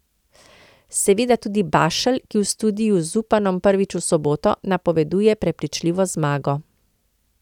Seveda tudi Bašelj, ki v studiu z Zupanom prvič v soboto, napoveduje prepričljivo zmago.